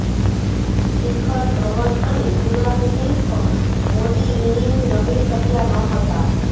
શિખર ધવન અને યુવરાજસિંહ પણ મોટી ઇનિંગ રમી શક્યા નહોતા